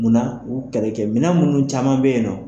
Munna u kɛlɛkɛ mina munnu caman bɛ yen nɔ.